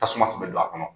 Tasuma tun bɛ don a kɔnɔ